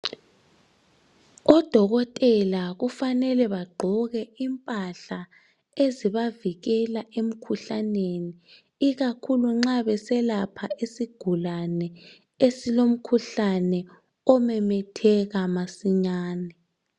Odokotela kufanele bagqoke impahla ezibavikela emkjuhlaneni. Ikakhulu nxa beselapha isigulsne, esilomkhuhlane omemetheka masinyane.